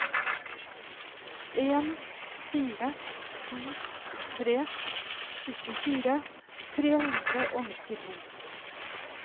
en fire to tre syttifire tre hundre og nittito